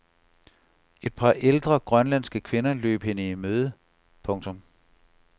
Et par ældre grønlandske kvinder løb hende i møde. punktum